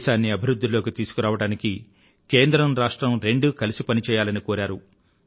దేశాన్ని అభివృధ్ధిలోకి తీసుకురావడానికి కేంద్రం రాష్ట్రం రెండూ కలిసి పనిచెయ్యాలని కోరారు